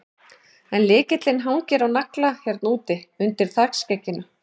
En lykillinn hangir á nagla hérna úti, undir þakskegginu.